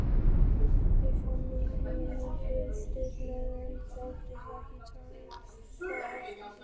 Ég fann að hinir fylgdust með, en þóttist ekki taka eftir því.